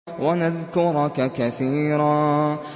وَنَذْكُرَكَ كَثِيرًا